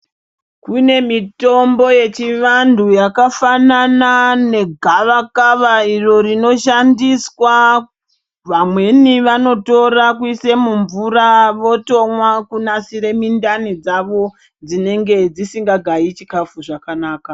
Kune mitombo yechivantu yakafanana negavakava iro rinoshandiswa ,vamweni vanotora kuisa mumvura votomwa kunasire mindani dzavo dzinenge dzisingagayi chikafu zvakanaka.